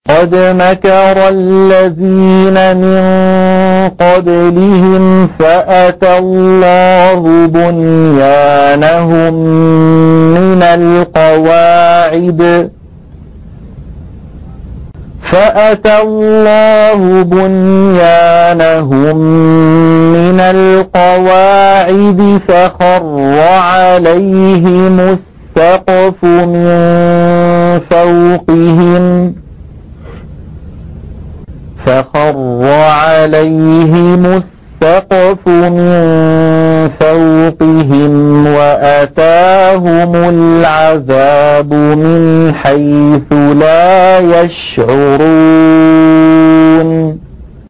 قَدْ مَكَرَ الَّذِينَ مِن قَبْلِهِمْ فَأَتَى اللَّهُ بُنْيَانَهُم مِّنَ الْقَوَاعِدِ فَخَرَّ عَلَيْهِمُ السَّقْفُ مِن فَوْقِهِمْ وَأَتَاهُمُ الْعَذَابُ مِنْ حَيْثُ لَا يَشْعُرُونَ